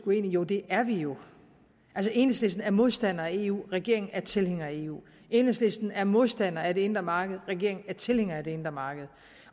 uenige joh det er vi jo enhedslisten er modstander af eu og regeringen er tilhænger af eu enhedslisten er modstander af det indre marked og regeringen er tilhænger af det indre marked